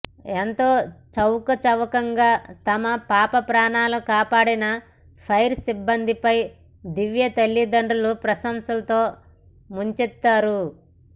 ఎంతో చాకచక్యంగా తమ పాప ప్రాణాలు కాపాడిన ఫైర్ సిబ్బందిపై దివ్య తల్లిదండ్రులు ప్రశంసలతో ముంచెత్తారు